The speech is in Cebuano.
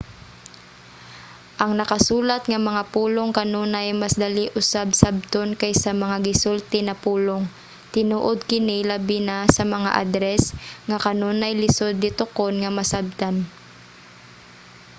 ang nakasulat nga mga pulong kanunay mas dali usab sabton kaysa mga gisulti na pulong. tinuod kini labi na sa mga adres nga kanunay lisud litokon nga masabtan